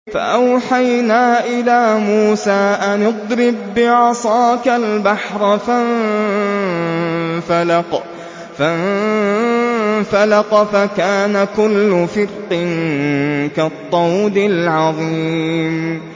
فَأَوْحَيْنَا إِلَىٰ مُوسَىٰ أَنِ اضْرِب بِّعَصَاكَ الْبَحْرَ ۖ فَانفَلَقَ فَكَانَ كُلُّ فِرْقٍ كَالطَّوْدِ الْعَظِيمِ